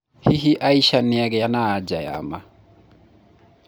hihi Aisha nĩagĩa na anja ya ma?